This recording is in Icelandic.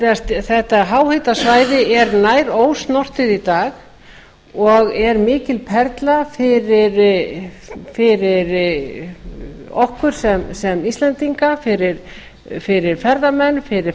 í gjástykki þetta háhitasvæði er nær ósnortið í dag og er mikil perla fyrir okkur sem íslendinga fyrir ferðamenn fyrir